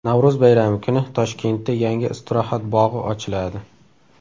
Navro‘z bayrami kuni Toshkentda yangi istirohat bog‘i ochiladi.